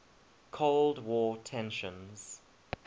cold war tensions